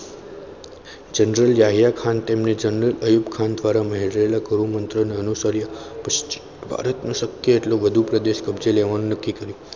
general Yahya Khan તેમને general Ayub Khan દ્વારા મેળવેલા મંત્ર અને અનુસર્યા પશ્ચિમી ભારતનું શક્ય તેટલું બધું કબજે લેવાનું નક્કી કર્યું.